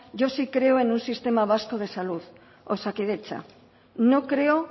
yo sí creo que un sistema vasco de salud osakidetza no creo